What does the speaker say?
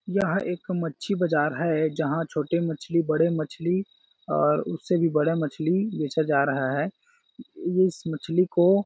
यह एक मच्छी बाजार है जहाँ छोटे मछली बड़े मछली और उनसे भी बड़े मछली बेचा जा रहा है ये इस मछली को--